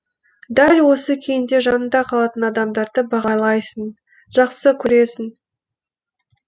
дәл осы күйіңде жаныңда қалатын адамдарды бағалайсың жақсы көресің